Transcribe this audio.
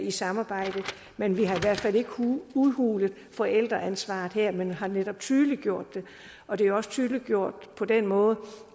i samarbejdet men vi har i hvert fald ikke udhulet forældreansvaret her men har netop tydeliggjort det og det er også tydeliggjort på den måde